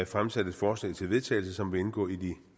fremsat et forslag til vedtagelse som vil indgå i de